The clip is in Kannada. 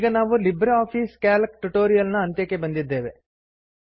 ಈಗ ನಾವು ಲಿಬ್ರೆ ಆಫೀಸ್ ಕ್ಯಾಲ್ಕ್ ಟ್ಯುಟೋರಿಯಲ್ ನ ಅಂತ್ಯಕ್ಕೆ ಬಂದಿದ್ದೇವೆ